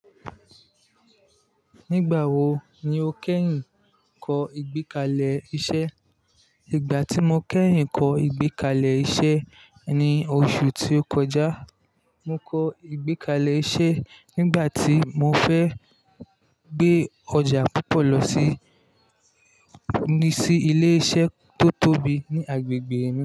Nígbà wo ni o kẹ́yìn kọ ìgbékalẹ̀ iṣẹ́? Ìgbà tí mo kẹ́yìn kọ ìgbékalẹ̀ iṣẹ́ ni oṣù tí ó kọjá. Mo kọ ìgbékalẹ̀ iṣẹ́ nígbà tí mo fẹ́ gbé ọjà púpọ̀ lọ sí, ni sí ilé iṣẹ́ tó tóbi ní agbègbè mi.